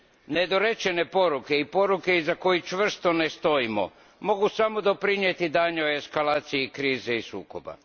Nedorečene poruke i poruke iza kojih čvrsto ne stojimo mogu samo doprinijeti daljnjoj eskalaciji krize i sukoba.